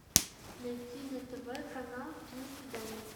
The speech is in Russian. найти на тв канал киносвидание